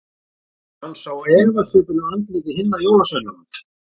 Hann sá efasvipinn á andlitum hinna jólasveinana.